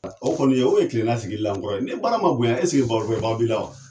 O kɔni o ye kilenna sigili la an kɔrɔ yan. Ni bara ma bonyan barokɛbaw b'i la wa?